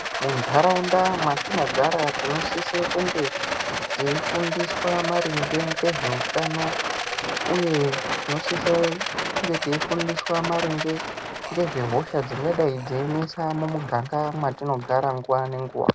Muntaraunda mwatinogara tinosise kunge teifundiswa maringe ngezveutano, uye tinosisa kunge teifundiswa maringe ngezvehosha dzingadai dzeinesa mumuganga mwatinogara nguwa nenguwa.